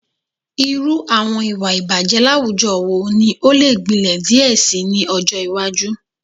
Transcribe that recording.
Irú àwọn iwa ìbàjẹ́ láwùjọ wo ni o le gbilẹ̀ díẹ̀ síí ni ọjọ́ iwájú